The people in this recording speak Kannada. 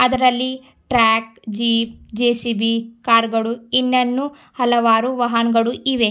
ಅದ್ರಲ್ಲಿ ಟ್ರಾಕ್ ಜೀಪ ಜೆ_ಸಿ_ಬಿ ಕಾರು ಗಳು ಇನ್ನನ್ನು ಹಲವಾರು ವಾಹನಗಳು ಇವೆ.